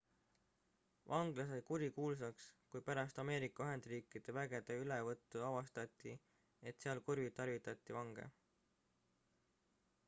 vangla sai kurikuulsaks kui pärast ameerika ühendriikide vägede ülevõttu avastati et seal kuritarvitati vange